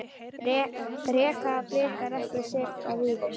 Reka Blikar ekki Sigga Víðis?